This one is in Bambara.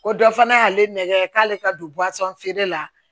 Ko dɔ fana y'ale nɛgɛ k'ale ka don feere la